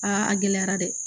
Aa a gɛlɛyara dɛ